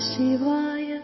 song